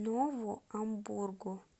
нову амбургу